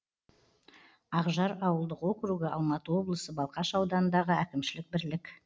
ақжар ауылдық округі алматы облысы балқаш ауданындағы әкімшілік бірлік